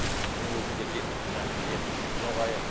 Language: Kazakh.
күні бүгінге дейін мына жеріміз жабайы